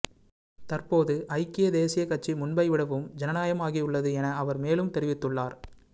தற்போது ஐக்கிய தேசிய கட்சி முன்பை விடவும் ஜனநாயகமாகியுள்ளது என அவர் மேலும் தெரிவித்துள்ளார்